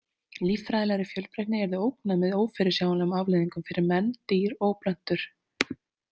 Líffræðilegri fjölbreytni yrði ógnað með ófyrirsjáanlegum afleiðingum fyrir menn, dýr og plöntur.